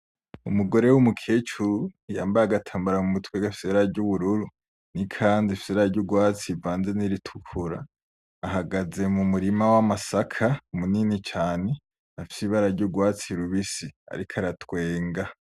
Umugore w'umukecuru yambaye agatambara mu mutwe gafise ibara ry'ubururu, n'ikanzu ifise ibara ry'ugwatsi rivanze n'iritukura, ahagaze mu murima w'amasaka munini cane afise ibara ry'ugwatsi rubisi, ariko aratwenga.